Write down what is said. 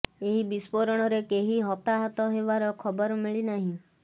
ଏହି ବିଷ୍ପୋରଣରେ କେହି ହତାହତ ହେବାର ଖବର ମିଳି ନାହିଁ